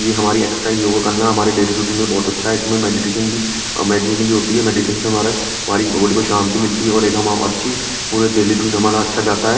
ये हमारी exercise yoga करना हमारे डेली रूटीन के लिए बहोत अच्छा है इसमें मेडिटेशन भी मेडिटेशन भी होती है मेडिटेशन से हमारे हमारी बॉडी में शांति मिलती है और एक अच्छी पूरी डेली ट्यून हमारा अच्छा जाता है।